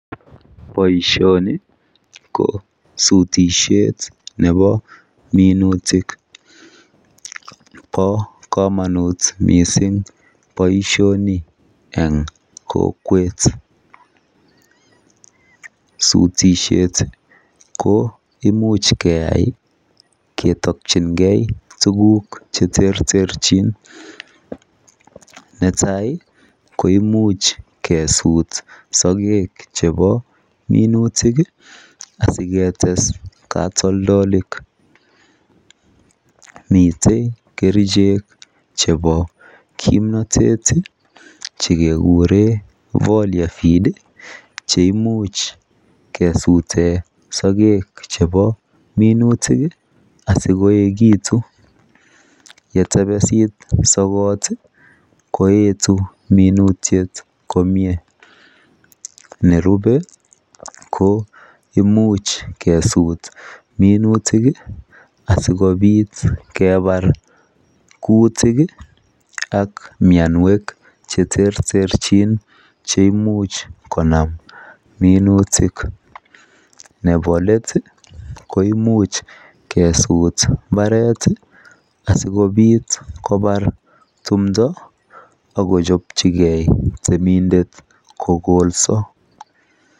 boishoni ko sutishet nebo minutik, bo komonut mising boishoni en kokweet, sutishet ko imuch keyaai ketokchin gee tuguuk cheterterchin, netai koimuch kesuut sogeek chebo minutik iih asigetes katoldolik, miten kerichek chebo kimnotet iiih chegekureen folia feed cheimuch kesuten sogeek chebo minutik iih asigoekitun yetebesiit sogoot iih koetu minutyet komnyee, nerube koimuch kesuut minutik iih asigobiit kebaar kutik iih ak myonweek cheterterchin cheimuch konam minutik, nebo leet iih koimuch kwsuut mbareet iih asigobiit kobaar timndo ak kochobchigee temindet kogolso.